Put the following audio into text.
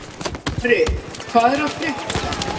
Mari, hvað er að frétta?